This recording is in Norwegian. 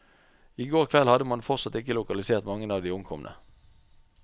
I går kveld hadde man fortsatt ikke lokalisert mange av de omkomne.